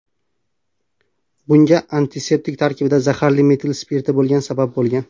Bunga antiseptik tarkibida zaharli metil spirti bo‘lgani sabab bo‘lgan.